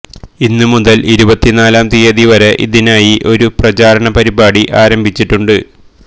ഇന്നു മുതൽ ഇരുപത്തി നാലാം തീയതി വരെ ഇതിനായി ഒരു പ്രചാരണ പരിപാടി ആരംഭിച്ചിട്ടുണ്ട്